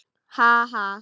Ha ha.